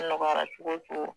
Nɔgɔyara cogo cogo.